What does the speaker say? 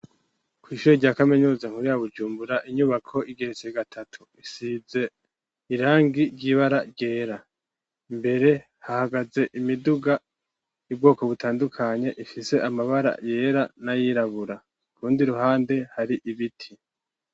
Kw'ishure rya kaminuza nkuru ya Bujumbura, inyubako igeretse gatatu. Isize irangi ry'ibara ryera. Imbere hahagaze imiduga y'ubwoko butandukanye ifise amabara yera n'ayirabura. Ku rundi ruhande hari ibiti.